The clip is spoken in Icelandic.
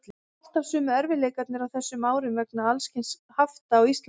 Alltaf sömu erfiðleikarnir á þessum árum vegna alls kyns hafta á Íslandi.